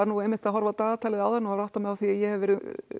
einmitt að horfa á dagatalið áðan og var að átta mig á því að ég hef verið